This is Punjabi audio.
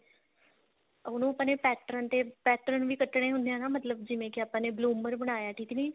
ਉਹਨੂੰ ਆਪਣੇ pattern ਤੇ pattern ਵੀ ਕੱਟਨੇ ਹੁੰਦੇ ਆ ਨਾ ਮਤਲਬ ਕਿ ਜਿਵੇਂ ਕਿ ਆਪਾਂ ਨੇ bloomer ਬਣਾਇਆ ਠੀਕ ਨੀ